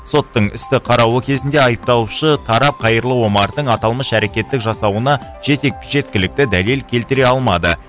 соттың істі қарауы кезінде айыпталушы тарап қайырлы омардың аталмыш әрекетті жасауына жеткілікті дәлел келтіре алмады